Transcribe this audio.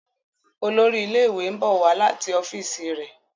Olórí ilé ìwé nbọ wá láti ọfiisi re.